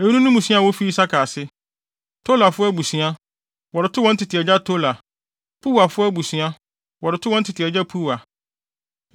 Eyinom ne mmusua a wofi Isakar ase: Tolafo abusua, wɔde too wɔn tete agya Tola; Puwafo abusua, wɔde too wɔn tete agya Puwa;